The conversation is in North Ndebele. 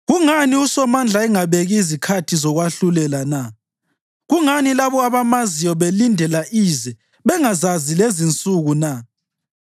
“Kungani uSomandla engabeki izikhathi zokwahlulela na? Kungani labo abamaziyo belindela ize bengazazi lezinsuku na?